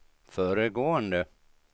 föregående